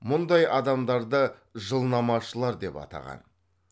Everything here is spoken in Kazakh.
мұндай адамдарды жылнамашылар деп атаған